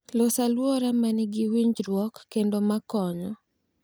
Los alwora ma nigi winjruok kendo ma konyo